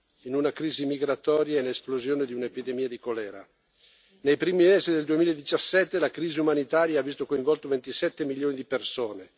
e in una crisi migratoria con l'esplosione di un'epidemia di colera. Nei primi mesi del 2017, la crisi umanitaria ha visto coinvolti 27 milioni di persone.